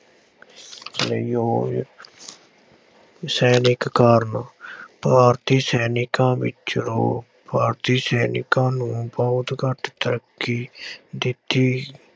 ਲਈ ਸੈਨਿਕ ਕਾਰਨ ਭਾਰਤੀ ਸੈਨਿਕਾਂ ਵਿੱਚ ਰੋਹ, ਭਾਰਤੀ ਸੈਨਿਕਾਂ ਨੂੰ ਬਹੁਤ ਘੱਟ ਤਰੱਕੀ ਦਿੱਤੀ